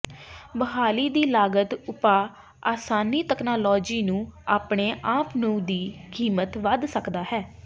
ਬਹਾਲੀ ਦੀ ਲਾਗਤ ਉਪਾਅ ਆਸਾਨੀ ਤਕਨਾਲੋਜੀ ਨੂੰ ਆਪਣੇ ਆਪ ਨੂੰ ਦੀ ਕੀਮਤ ਵੱਧ ਸਕਦਾ ਹੈ